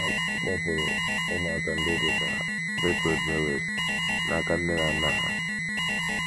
A kpọpụrụ ụmụaka ndị dị ka Berthold Mewes n’aka nne na nna ha